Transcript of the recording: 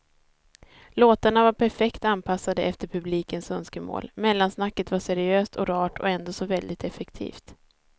Låtarna var perfekt anpassade efter publikens önskemål, mellansnacket var seriöst och rart och ändå så väldigt effektivt.